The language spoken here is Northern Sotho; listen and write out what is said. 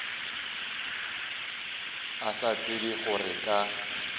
a sa tsebe gore ka